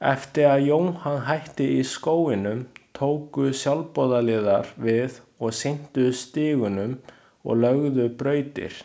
Eftir að Johan hætti í skóginum tóku sjálfboðaliðar við og sinntu stígunum og löguðu brautir.